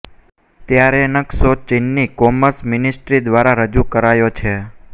ત્યારે નક્શો ચીનની કોમર્સ મિનિસ્ટ્રી દ્વારા રજૂ કરાયો છે